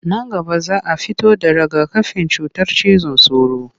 Nan gaba za a fito da raga-kafin cutar cizon sauro